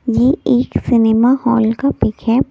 ये एक cinema hall का पिक है।